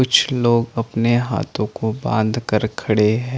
कुछ लोग अपने हाथो को बांध कर खड़े है।